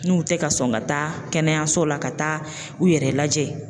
N'u tɛ ka sɔn ka taa kɛnɛyaso la ka taa u yɛrɛ lajɛ